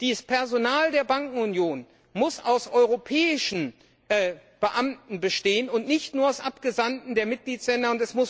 Das Personal der Bankenunion muss aus europäischen Beamten bestehen und nicht nur aus Abgesandten der Mitgliedsländer.